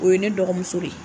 O ye ne dɔgɔmuso de ye.